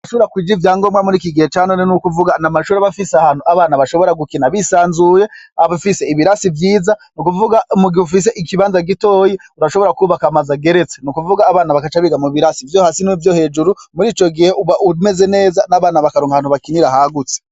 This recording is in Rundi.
Uwudakwije ivyangombwa muriki gihe ca none nukuvuga amashure adafise ahantu abana bashobora gukina bisanzuye bafise ibirasi vyiza nukuvuga mu gihe ufise ikibanza gitoyi urashobora kwubaka amzu ageretse nukuvuga abana bakaca biga mu birasi vyo hasi no hejuru murico gihe uba umeze neza nabana bakaronka naho bakinira hagutse